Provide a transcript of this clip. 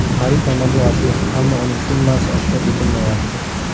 Xarid amalga oshdi, ammo uning summasi oshkor etilmayapti.